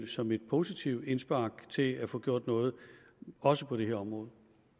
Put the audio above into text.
som et positivt indspark til at få gjort noget også på det her område